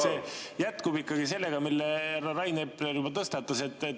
See jätkub ikkagi sellega, mille Rain Epler juba tõstatas.